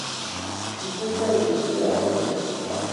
Kigikwey koek meya nenyo---